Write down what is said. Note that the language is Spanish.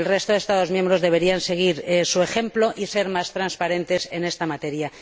El resto de Estados miembros deberían seguir su ejemplo y ser más transparentes en esta materia.